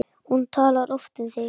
Hún talar oft um þig